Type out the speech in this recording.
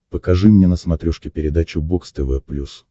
покажи мне на смотрешке передачу бокс тв плюс